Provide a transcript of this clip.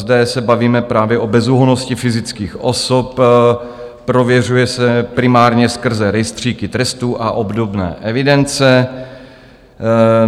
Zde se bavíme právě o bezúhonnosti fyzických osob - prověřuje se primárně skrze rejstříky trestů a obdobné evidence.